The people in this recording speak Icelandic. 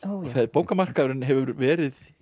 bókamarkaðurinn hefur verið